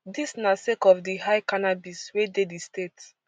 dis na sake of di high cannabis wey dey di state